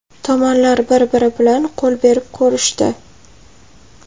Tomonlar bir-biri bilan qo‘l berib ko‘rishdi.